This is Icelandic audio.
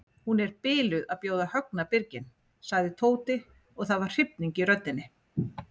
Hún er biluð að bjóða Högna birginn sagði Tóti og það var hrifning í röddinni.